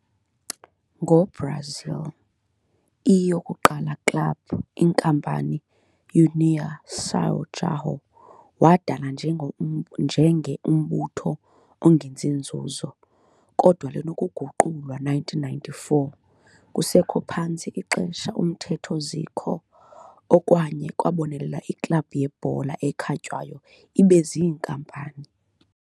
Ngo-Brazil, i-yokuqala club-inkampani União São João, wadala njenge umbutho ongenzi nzuzo, kodwa linokuguqulwa 1994, kusekho phantsi ixesha uMthetho Zico, Okwaye kwabonelela iiklabhu yebhola ekhatywayo ibe ziinkampani.